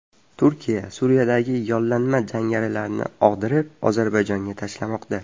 Turkiya Suriyadagi yollanma jangarilarni og‘dirib, Ozarbayjonga tashlamoqda.